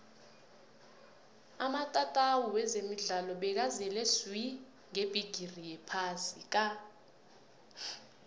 amatatawu wezemidlalo bekazele swi ngebhigiri yephasi ka